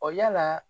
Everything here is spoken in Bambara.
Ɔ yala